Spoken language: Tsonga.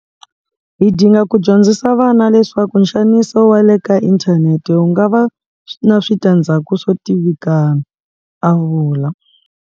Hi dinga ku dyondzisa vana leswaku nxaniso wa le ka inthanete wu nga va na switandzhaku swo tivikana a vula.